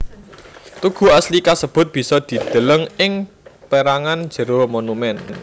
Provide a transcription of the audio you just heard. Tugu asli kasebut bisa dideleng ing pérangan jero monumèn